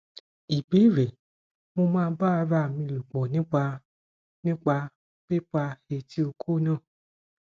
ìbéèrè mo máa ba ara mi lopo nípa nípa pipa eti oko naa